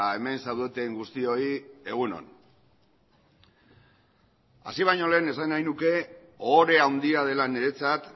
hemen zaudeten guztioi egun on hasi baino lehen esan nahi nuke ohore handia dela niretzat